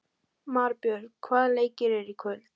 Marbjörn, hvaða leikir eru í kvöld?